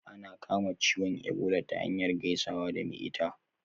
Ana kama ciwon ebola ta hanyar gaisawa da me ita